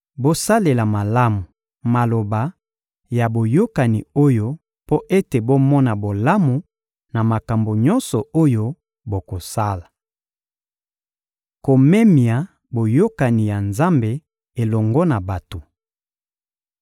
Bosalela malamu maloba ya boyokani oyo mpo ete bomona bolamu na makambo nyonso oyo bokosala. Komemia boyokani ya Nzambe elongo na bato